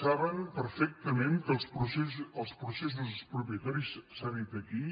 saben perfectament que els processos expropiatoris s’ha dit aquí